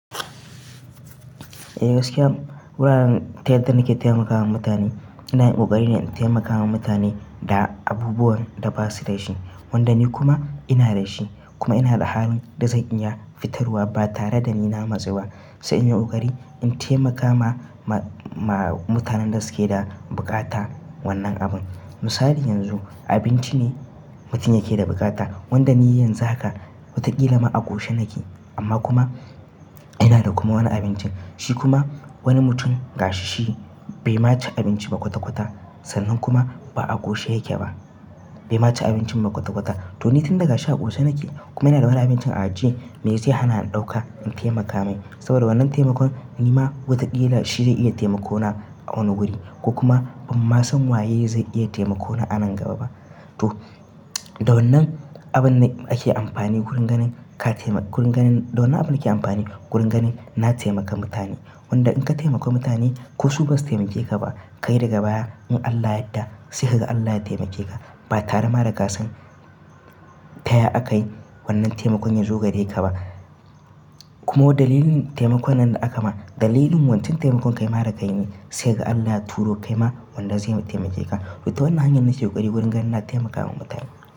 Eh gaskiya wuraren tiyata da nake taimakawa mutane ina yin ƙoƙari na taimakawa mutane da abubuwan da ba su da shi wanda ni kuma ina da shi kuma ina da halin da zan iya fitarwa ba tare da ni na matsewa. Sai in yi ƙoƙari in taimaka ma-ma-ma mutanen da suke da buƙata wannan abun. Misali yanzu abinci ne mutum yake da buƙata wanda ni yanzu haka wata ƙila ma a ƙoshi nake amma kuma ina da kuma wani abincin shi kuma wani mutum ga shi shi bai ma ci abinci makwata kwata sannan kuma ba a ƙoshi yake ba bai ma ci abincin makwata kwata. To ni tun daga sha a ƙoshi nake kuma ina da wani abincin a ajiye me zai hana in ɗauka in taimaka mai saboda wannan taimakon ni ma wata ƙila shi zai iya taimako na a wani wuri ko kuma ban ma san waye zai iya taimako na a nan gaba ba. To da wannan abun ne ake amfani wurin ganin ka taima-- wurin ganin da wannan abun ake amfani wurin ganin na taimaka mutane wanda in ka taimaka mutane ko su basu taimake ka ba kai daga baya in Allah yadda sai ga Allah ya taimake ka ba tare ma da ka san taya aka yi wannan taimakon yazo gare ka ba. Kuma dalilin taimakon nan da aka ma dalilin wancan taimakon kai ma da ka yi ne sai ga Allah ya turo kai ma wanda zai ma taimake ka. Wato wannan hanyar nake yi ƙoƙari wurin ganin na taimakawa mutane.